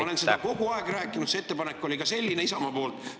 Ma olen seda kogu aeg rääkinud, ka see ettepanek oli selline Isamaa poolt.